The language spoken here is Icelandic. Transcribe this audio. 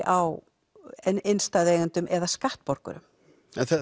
á innistæðu eigendum eða skattborgurum en